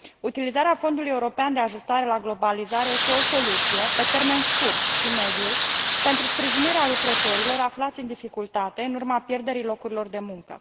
Utilizarea Fondului European de Ajustare la Globalizare este o soluție pe termen scurt și mediu pentru sprijinirea lucrătorilor aflați în dificultate în urma pierderii locurilor de muncă.